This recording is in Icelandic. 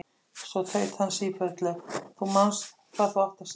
Svo tautaði hann sífellu: Þú manst hvað þú átt að segja ömmu!